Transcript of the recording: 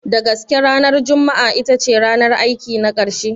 Da gaske ranar Juma'a itace ranar aiki na ƙarshe?